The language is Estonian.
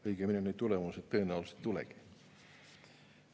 Õigemini, neid tulemusi tõenäoliselt ei tulegi.